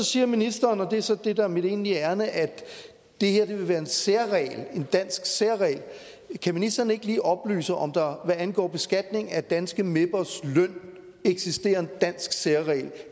siger ministeren og det er så det der er mit egentlige ærinde at det her vil være en særregel en dansk særregel kan ministeren ikke lige oplyse om der hvad angår beskatning af danske mepers løn eksisterer en dansk særregel